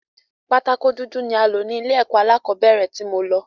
Pátákó dúdú ni a lọ̀ ni ilé ẹ̀kọ́ alákọ̀bẹ́rẹ̀ tí mo lọ